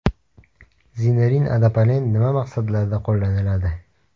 Zinerin Adapalen nima maqsadlarda qo‘llaniladi?